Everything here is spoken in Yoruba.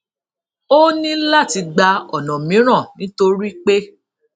ó ní láti gba ona miran nítorí pé